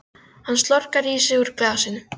Hann slokrar í sig úr glasinu.